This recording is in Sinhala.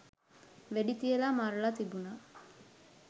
වෙඩි තියලා මරලා තිබුණා